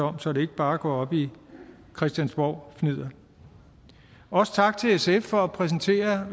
om så det ikke bare går op i christiansborgfnidder og også tak til sf for at præsentere